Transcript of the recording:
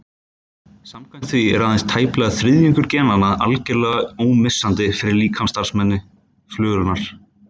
Samkvæmt því er aðeins tæplega þriðjungur genanna algerlega ómissandi fyrir líkamsstarfsemi flugunnar.